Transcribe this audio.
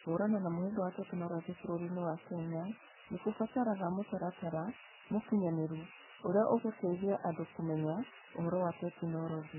Kũhũrana na mũhĩnga wa tekinoronjĩ bũrũriinĩ wa Kenya nĩ kũbataraga mũtaratara mũkinyanĩru ũrĩa ũgũteithia andũ kũmenya ũhoro wa tekinoronjĩ.